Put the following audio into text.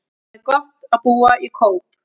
Það er gott að búa í Kóp.